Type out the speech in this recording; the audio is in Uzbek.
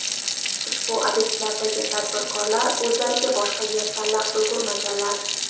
Ushbu obyektlardagi tadbirkorlar o‘zlariga boshqa yer tanlab ulgurmaganlar.